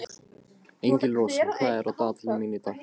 Engilrós, hvað er á dagatalinu mínu í dag?